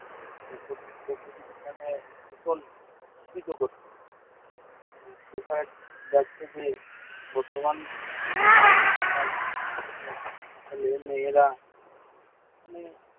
প্রকৃতিকে মানে ভীষণ দূষিত করছে। দেখা যাচ্ছে যাচ্ছে যে, বর্তমান সমাজের ছেলেমেয়েরা মানে